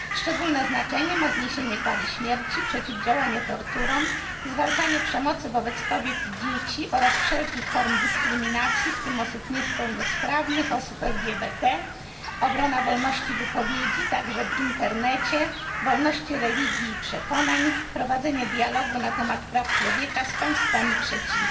Szczególne znaczenie ma zniesienie kary śmierci, przeciwdziałanie torturom, zwalczanie przemocy wobec kobiet i dzieci oraz wszelkich form dyskryminacji, w tym osób niepełnosprawnych, osób LGBT, obrona wolności wypowiedzi także w internecie wolności religii i przekonań, prowadzenie dialogu na temat praw człowieka z państwami trzecimi.